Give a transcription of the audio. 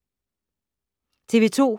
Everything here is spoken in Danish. TV 2